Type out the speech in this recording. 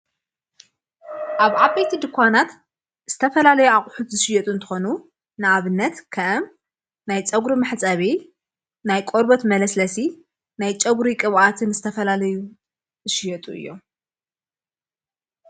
ኣብ ዓበይቲ ድኳናት ዝተፈላለይ ኣቝሑት ዝሽየጡ እንተኾኑ ንኣብነት ከም ናይ ጸጕሪ መሕጸቤ፣ ናይ ቆርበት መለስለሲ፣ ናይ ጨጕሪ ይቕብኣትን ዝተፈላለዩ ዝሽየጡ እዮም።